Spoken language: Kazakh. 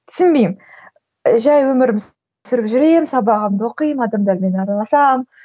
түсінбеймін жай өмірімді сүріп жүремін сабағымды оқимын адамдармен араласамын